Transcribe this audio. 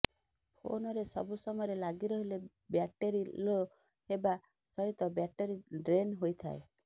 ଫୋନରେ ସବୁ ସମୟରେ ଲାଗି ରହିଲେ ବ୍ୟାଟେରୀ ଲୋ ହେବା ସହିତ ବ୍ୟାଟେରୀ ଡ୍ରେନ ହୋଇଥାଏ